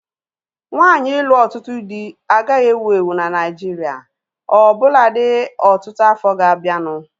Nwaanyi ịlụ ọtụtụ dị agaghị ewu ewu na Naijiria ọbụnadi ọtụtụ afọ ga-abianu